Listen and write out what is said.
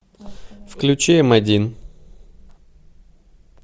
включи эм один